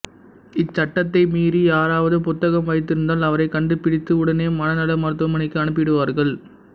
இச்சட்டத்தை மீறி யாராவது புத்தகம் வைத்திருந்தால் அவரைக் கண்டுபிடித்து உடனே மனநல மருத்துவமனைக்கு அனுப்பிவிடுவார்கள்